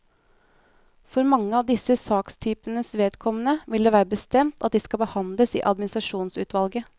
For mange av disse sakstypenes vedkommende vil det være bestemt at de skal behandles i administrasjonsutvalget.